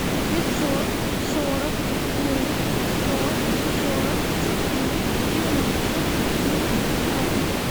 пятьсот сорок девять сто сорок четыре девяносто один пятнадцать